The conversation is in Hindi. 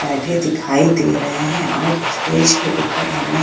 बैठे दिखाई दे रहे हैं और स्टेज के ऊपर हमें --